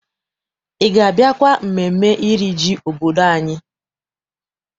Ị ga- abịakwa mmemme iri ji obodo anyị?